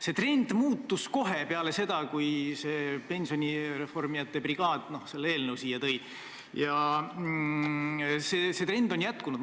See trend muutus kohe peale seda, kui pensioni reformijate brigaad praeguse eelnõu siia tõi, ja see trend on jätkunud.